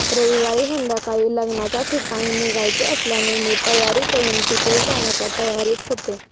रविवारी संध्याकाळी लग्नाचे ठिकाणी निघायचे असल्याने मी तयारी करून तिकडे जाण्याच्या तयारीत होते